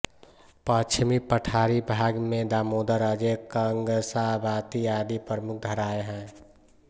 पश्चिमी पठारी भाग में दामोदर अजय कंग्साबाती आदि प्रमुख धाराएं हैं